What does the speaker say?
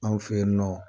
Anw fe yen nɔ